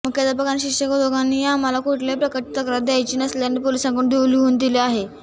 मुख्याध्यापक आणि शिक्षक दोघांनीही आम्हाला कुठल्याही प्रकारची तक्रार द्यायची नसल्याचं पोलिसांना लिहून दिलं आहे